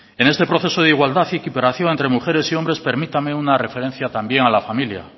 en este proceso de igualdad y equiparación entre mujeres y hombres permítame una referencia también a la familia